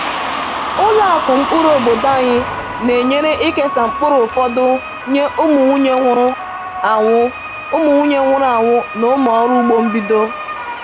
Ụlọ akụ mkpụrụ obodo anyị na-enyere ịkesa mkpụrụ fọdụrụ nye ụmụnwunye nwụrụ anwụ ụmụnwunye nwụrụ anwụ na ụmụ ọrụ ugbo mbido.